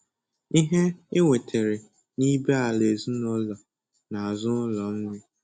Ihe e nwetere nibé-ala ezinụlọ na-azụ ụlọ nri.